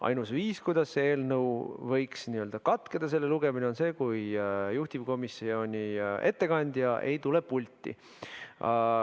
Ainus viis, kuidas selle eelnõu lugemine võiks katkeda, on see, kui juhtivkomisjoni ettekandja ei tule pulti.